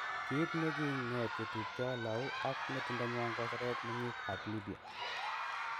Kit ne gi nget chetupto lou ak ngetundanywan koseret mengik ap libya